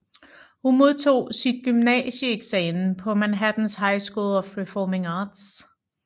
Hun modtog sit gymnasieeksamen på Manhattans High School of Performing Arts